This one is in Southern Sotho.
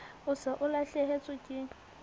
o se o lahlehetswe ke